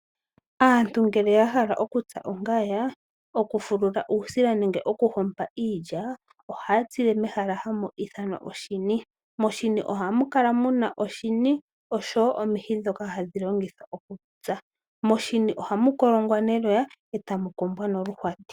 Aantu ngele ya hala okutsa ongaya, okufulula uusila nenge okuhompa iilya ohaya tsile mehala hamu ithanwa oshini. Moshini ohamu kala kala mu na oshini nosho wo omihi ndhoka hadhi longithwa okutsa. Moshini ohamu kolongwa neloya e tamu kombwa noluhwati.